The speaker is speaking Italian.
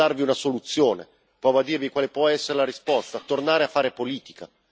Provo a darvi una soluzione, provo a dirvi quale può essere la risposta tornare a fare politica.